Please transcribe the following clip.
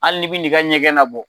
Hali ni bin'i ka ɲɛgɛn nabɔ